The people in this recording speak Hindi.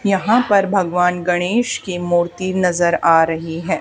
यहाँ पर भगवान गणेश की मूर्ति नज़र आ रही है।